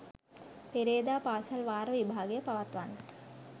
පෙරේදා පාසල් වාර විභාගය පවත්වන්නට